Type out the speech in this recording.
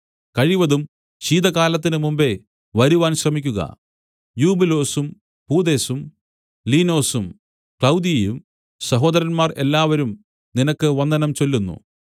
കഴിവതും ശീതകാലത്തിന് മുമ്പെ വരുവാൻ ശ്രമിക്കുക യൂബൂലൊസും പൂദെസും ലീനൊസും ക്ലൌദിയയും സഹോദരന്മാർ എല്ലാവരും നിനക്ക് വന്ദനം ചൊല്ലുന്നു